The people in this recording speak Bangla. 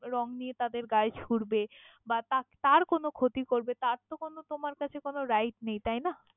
রঙ নিয়ে তাদের গায়ে ছুরবে বা তা তার কোনও ক্ষতি করবে তার তহ কোনও তোমার কাছে কোনও right নেই তাই না।